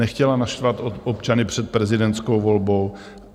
Nechtěla naštvat občany před prezidentskou volbou.